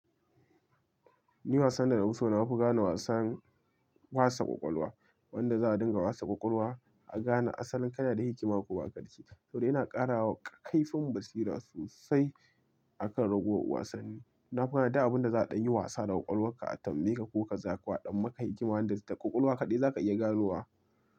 Ni wasan da na fi so gane wasan wasa ƙwaƙwalwa. Wanda za a dinga wasa ƙwaƙwalwa, a gane asalin kana da hikima ko baka da shi. Saboda yana ƙarawa kaifun basira sosai a kan raguwar wasanni. Na koya da abin da za a ɗan yi wasa da ƙwaƙwalwarka a tambayeka ko kaza ko a ɗan maka hikima wanda da ƙwaƙwalwa kaɗai za ka iya ganowa.